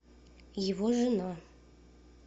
его жена